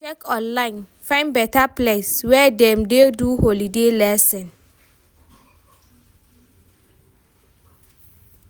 We go check online, find beta place wey dem dey do holiday lesson.